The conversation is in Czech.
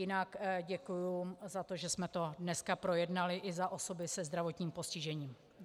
Jinak děkuji za to, že jsme to dneska projednali, i za osoby se zdravotním postižením.